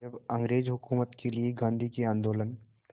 अब अंग्रेज़ हुकूमत के लिए गांधी के आंदोलन